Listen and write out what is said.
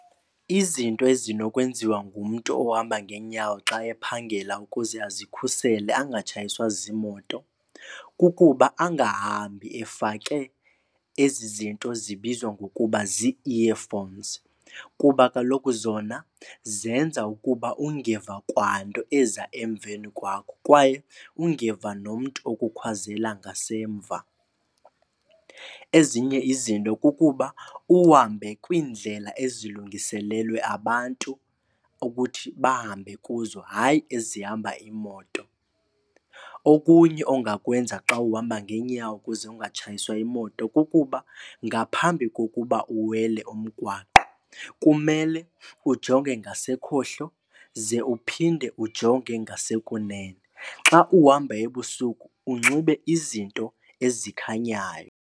Izinto ezinokwenziwa ngumntu ohamba ngeenyawo xa ephangela ukuze azikhusele angatshayiswa zimoto kukuba angahambi efake ezi zinto zibizwa ngokuba zii-earphones kuba kaloku zona zenza ukuba ungeva kwanto eza emveni kwakho kwaye ungeva nomntu okukhwazela ngasemva. Ezinye izinto kukuba uhambe kwiindlela ezilungiselelwe abantu ukuthi bahambe kuzo, hayi ezihamba imoto. Okunye ongakwenza xa uhamba ngeenyawo ukuze ungatshayiswa yimoto kukuba ngaphambi kokuba uwele umgwaqo, kumele ujonge ngasekhohlo ze uphinde ujonge ngasekunene. Xa uhamba ebusuku unxibe izinto ezikhanyayo.